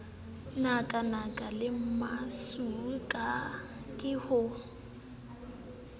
nakanaka le masiu ke ho